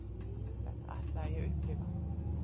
Þetta ætlaði ég að upplifa.